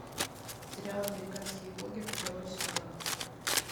сериал американские боги второй сезон